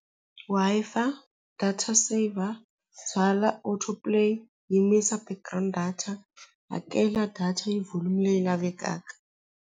Wi-Fi data saver byala or to play yimisa background data hakela data hi volume leyi lavekaka.